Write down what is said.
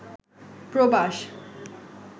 প্রবাস